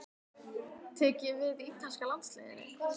Tek ég við ítalska landsliðinu?